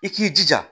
I k'i jija